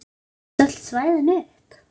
Seldust öll svæðin upp.